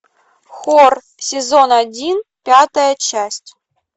хор сезон один пятая часть